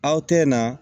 Aw tɛ na